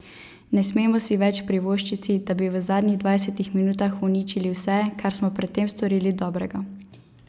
Ne smemo si več privoščiti, da bi v zadnjih dvajsetih minutah uničili vse, kar smo pred tem storili dobrega.